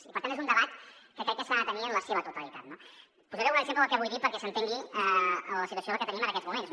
i per tant és un debat que crec que s’ha de tenir en la seva totalitat no posaré un exemple del que vull dir perquè s’entengui la situació que tenim en aquests moments